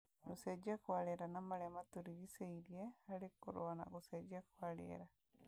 Gũcenjia kwa rĩera na marĩa matũrigicĩirie harĩ kũrũa na gũcenjia kwa rĩera,